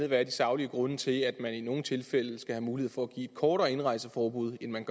hvad de saglige grunde er til at man i nogle tilfælde skal have mulighed for at give et kortere indrejseforbud end man